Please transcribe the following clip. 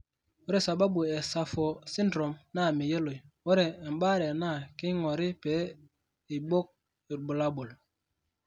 Ore sababu e SAPHO syndrome naa meyioloi, ore embaare naa keing'ori pee eibok irbulabol.